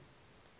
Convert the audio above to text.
wkk kuslyn vissery